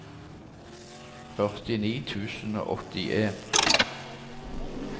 førtini tusen og åttien